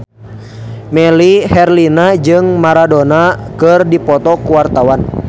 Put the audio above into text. Melly Herlina jeung Maradona keur dipoto ku wartawan